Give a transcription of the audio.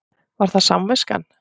Var það samviskan?